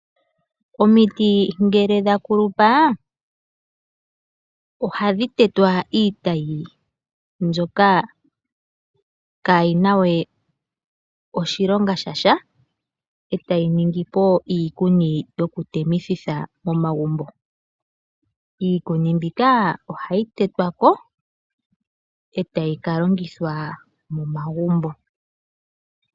Omitii ngele dhakulupa, ohadhi tetwa iitayi mbyoka kayinaa we oshilonga shasha, e tayi ningipo iikuni yokutemithitha momagumbo. Ikuni mbikaa ohayi tetwako e tayikalongithwa momagumbo.